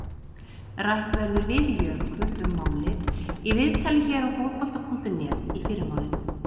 Rætt verður við Jökul um málið í viðtali hér á Fótbolta.net í fyrramálið.